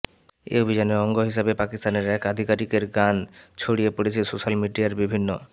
এই অভিযানের অঙ্গ হিসাবে পাকিস্তানের এক আধিকারিকের গান ছড়িয়ে পড়েছে সোশ্যাল মিডিয়ার বিভিন্ন